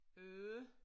Øh